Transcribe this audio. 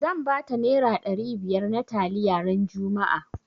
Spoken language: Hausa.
Zan bata nera ɗari biyar na taliya ran juma'a